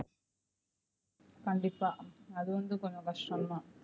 கண்டிப்பா அது வந்து கொஞ்சம் கஷ்டம் தான்.